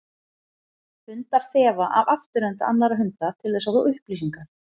Hundar þefa af afturenda annarra hunda til þess að fá upplýsingar.